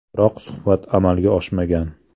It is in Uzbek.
Biroq suhbat amalga oshmagan.